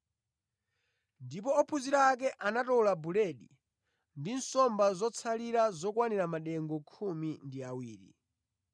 ndipo ophunzira ake anatola buledi ndi nsomba zotsalira zokwanira madengu khumi ndi awiri.